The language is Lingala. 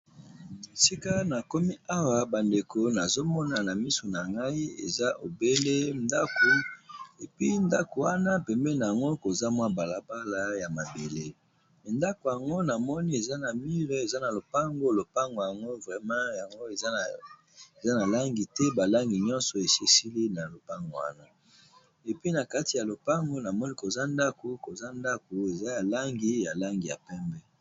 Sika na komi awa bandeko nazomona na miso na ngai eza ebele ndako epi ndako wana pembe na yango koza mwa balabala ya mabele endako yango namoni eza na mire eza na lopango lopango yango vrema yango eza na langi te balangi nyonso esisili na lopango wana epi na kati ya lopango namoni koza ndako koza ndako eza ya langi ya langi ya pembe.